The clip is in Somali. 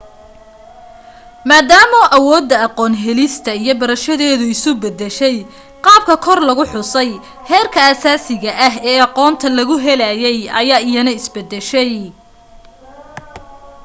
maadaama awoodda aqoon helista iyo barashadeedu isu beddeshay qaabka kor lagu xusay heerka asaasiga ah ee aqoonta lagu helayay ayaa iyana is beddeshay